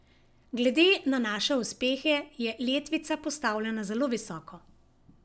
Glede na naše uspehe je letvica postavljena zelo visoko.